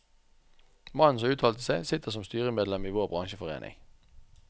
Mannen som uttalte seg, sitter som styremedlem i vår bransjeforening.